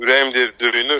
Ürəyim deyir döyünür.